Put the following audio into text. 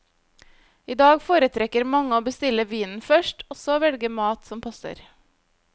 I dag foretrekker mange å bestille vinen først, og så velge mat som passer.